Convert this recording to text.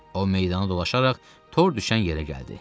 O meydanı dolaşaraq tor düşən yerə gəldi.